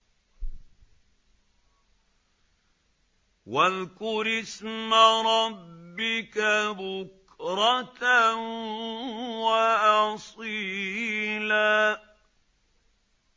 وَاذْكُرِ اسْمَ رَبِّكَ بُكْرَةً وَأَصِيلًا